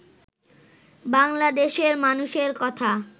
বাংলাদেশের মানুষের কথা